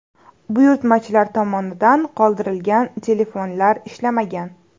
Buyurtmachilar tomonidan qoldirilgan telefonlar ishlamagan.